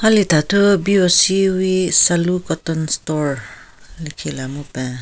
Hali thathu BOC wi salu cotton store lekhila mupen.